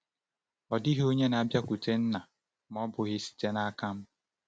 Ọ dịghị onye na-abịakwute Nna ma ọ bụghị site n’aka m.